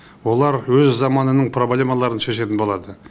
олар өз заманының проблемаларын шешетін болады